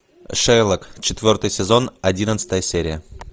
шерлок четвертый сезон одиннадцатая серия